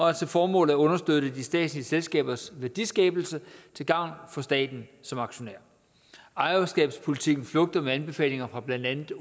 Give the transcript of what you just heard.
har til formål at understøtte de statslige selskabers værdiskabelse til gavn for staten som aktionær ejerskabspolitikken flugter med anbefalinger fra blandt andet